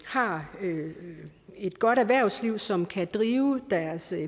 har et godt erhvervsliv som kan drive deres